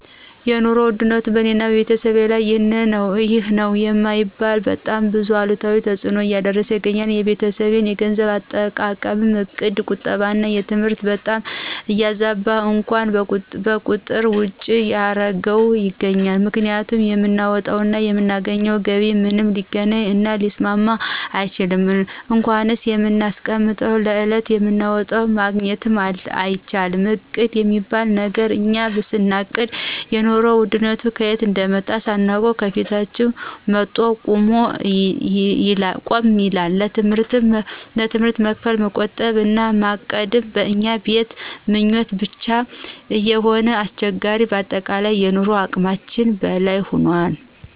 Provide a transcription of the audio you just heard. የኑሮ ውድነቱ በእኔና በቤተሰቤ ላይ ይህ ነዉ የማይባል በጣም ብዙ አሉታዊ ተጽእኖን እያሳደረ ይገኛል። የቤተሰቤን የገንዘብ አጠቃቀም እቅድ ቁጠባና ትምህርት በጣም እያዛበው እንኳን ከቁጥር ውጭ እያረገው ይገኛል፤ ምክንያቱም የምናወጣው እና የምናገኘው ገቢ ምንም ሊገናኝ እና ሊስማማ አልቻለም እንኳንስ የምናስቀምጠው ለዕለት የምናወጣውም ማግኘት አልቻልንም እቅድ የሚባል ነገር እኛ ስናቅድ የኑሮ ውድነቱ ከየት እንደመጣ ሳናውቅ ከፊት መቶ ቁጭ ይላል፣ ለትምህርት መክፈል፣ መቆጠብ እና ማቀድ በእኛ ቤት ምኞት ብቻ እየሆነ አስቸግሯል በአጠቃላይ ኑሮ ከአቅማችን በላይ ሁኗል።